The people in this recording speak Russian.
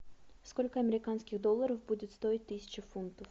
сколько американских долларов будет стоить тысяча фунтов